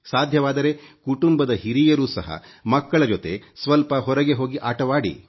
ಸಾಧ್ಯವಾದರೆ ಕುಟುಂಬದ ಹಿರಿಯರು ಸಹ ಮಕ್ಕಳ ಜೊತೆ ಸ್ವಲ್ಪ ಹೊರಗೆ ಹೋಗಿ ಆಟವಾಡಿ